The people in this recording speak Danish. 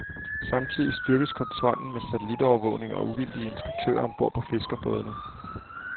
Samtidig styrkes kontrollen med satellitovervågning og uvildige inspektører om bord på fiskerbådene.